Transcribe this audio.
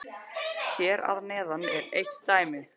Hér að neðan er eitt dæmi